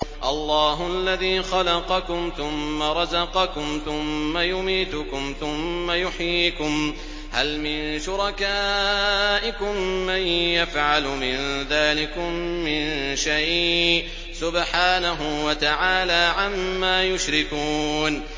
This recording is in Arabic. اللَّهُ الَّذِي خَلَقَكُمْ ثُمَّ رَزَقَكُمْ ثُمَّ يُمِيتُكُمْ ثُمَّ يُحْيِيكُمْ ۖ هَلْ مِن شُرَكَائِكُم مَّن يَفْعَلُ مِن ذَٰلِكُم مِّن شَيْءٍ ۚ سُبْحَانَهُ وَتَعَالَىٰ عَمَّا يُشْرِكُونَ